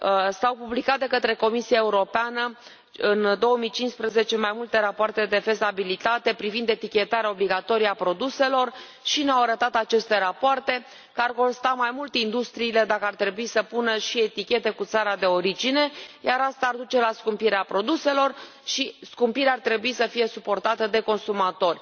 S au publicat de către Comisia Europeană, în 2015, mai multe rapoarte de fezabilitate privind etichetarea obligatorie a produselor și ne au arătat aceste rapoarte că ar costa mai mult industriile dacă ar trebui să pună și etichete cu țara de origine, iar asta ar duce la scumpirea produselor și scumpirea ar trebui să fie suportată de consumatori.